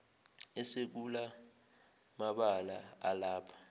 esekula mabala alapha